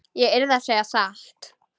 Ég yrði að segja satt.